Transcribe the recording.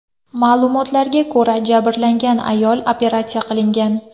Ma’lumotlarga ko‘ra, jabrlangan ayol operatsiya qilingan.